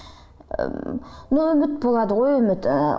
ы но үміт болады ғой үміт ы